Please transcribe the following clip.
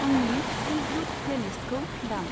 आंनि silk route प्लेलिस्टखौ दाम।